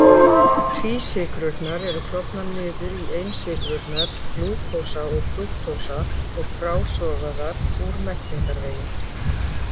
Tvísykrurnar eru klofnar niður í einsykrurnar glúkósa og frúktósa og frásogaðar úr meltingarvegi.